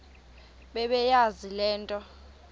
bebeyazi le nto